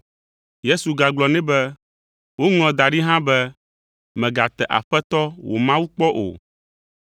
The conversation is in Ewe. Yesu gagblɔ nɛ be, “Woŋlɔ da ɖi hã be, mègate Aƒetɔ wò Mawu kpɔ o.”